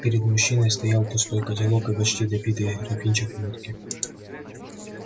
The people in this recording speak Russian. перед мужчиной стоял пустой котелок и почти допитый графинчик водки